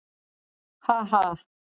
Ha ha!